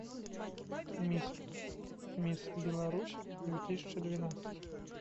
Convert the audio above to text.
мисс мисс беларусь две тысячи двенадцать